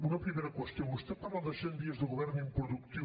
una primera qüestió vostè parla de cent dies de govern improductiu